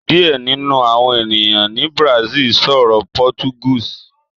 Diẹ ninu awọn eniyan ni Brazil sọrọ Portuguese